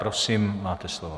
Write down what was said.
Prosím, máte slovo.